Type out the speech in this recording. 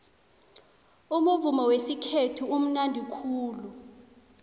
umuvumo wesikhethu umunandi khulu